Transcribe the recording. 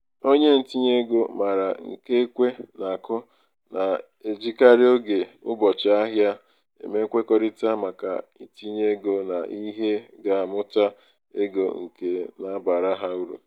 onye ntinyeego um maara nke ekwe na-akụ na-ejikarị oge ụbọchị-ahịa eme nkwekọrịta maka itinye ego n'ihe ga-amụta ego nke na-abara ha uru.